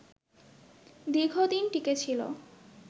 দীর্ঘদিন টিকে ছিল